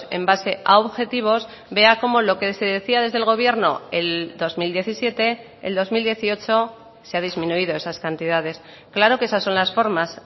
en base a objetivos vea cómo lo que se decía desde el gobierno el dos mil diecisiete el dos mil dieciocho se ha disminuido esas cantidades claro que esas son las formas